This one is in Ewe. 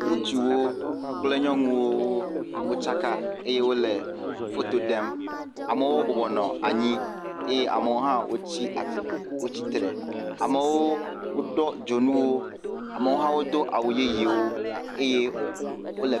Ŋutsuwo kple nyɔnuwo wokaka eye wole foto ɖem. Amewo bɔbɔ nɔ anyi ye amewo hã wotsi atsi wotsi tre. Amewo do dzonuwo, amewo hã wodo awu yeyewo eye wole…